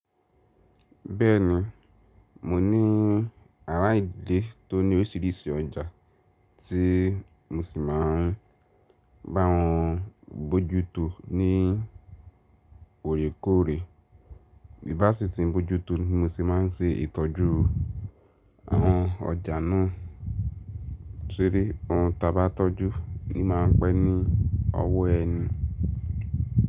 Bẹ́ẹ̀ni, mo ní àrá ìdíle tó ní oríṣiríṣi ọjà tí mo sì máa ń bá wọn bojútó ní òrékọ́ọ̀rẹ́. Bí bá sì ti ń bojútó ni mo sì máa ń ṣe ìtọ́jú àwọn ọjà náà. Torí ohun ta bá tọ́jú ni máa pẹ́ ní ọwọ́ ẹni.